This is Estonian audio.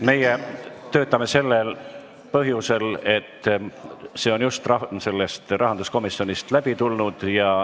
Meie töötame sellel põhjusel, et see on just rahanduskomisjonist läbi tulnud.